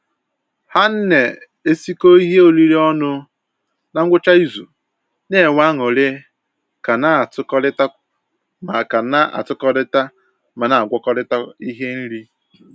Ha ne-esikọ ihe oriri ọnụ na ngwụcha izu, na-enwe aṅụrị ka na-atụkọrịta ma ka na-atụkọrịta ma na-agwakọrịta ihe nri